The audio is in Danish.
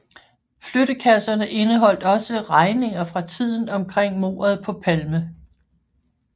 Flyttekasserne indeholdt også regninger fra tiden omkring mordet på Palme